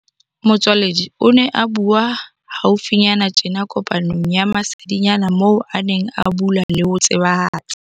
Motsoaledi o ne a bua hau finyana tjena kopanong ya masedinyana moo a neng a bula le ho tsebahatsa.